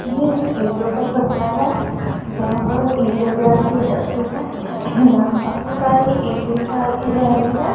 ये ईंटों का भट्टा है जहां पर ईंटे तैयार की जाती हैं यहां काफी सारी ईंटे तैयार की जा रही हैं।